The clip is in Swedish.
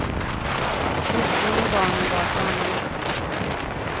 Hustrun och barnen var på annan ort.